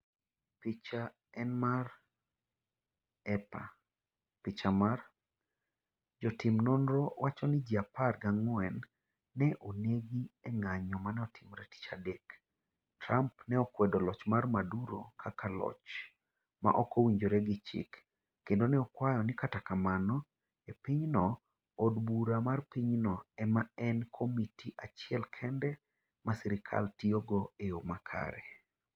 Picha en mar: EPA picha mar: Jotim nonro wacho ni ji apar gi ang'wenne onegi e ng'anjo ma ne otimore Tich Adek. Trump ne okwedo loch mar Maduro kaka loch "ma ok owinjore gi chik" kendo ne okwayo ni Kata kamano, e pinyno, od bura mar pinyno ema en "komiti achiel kende ma sirkal tiyogo e yo makare".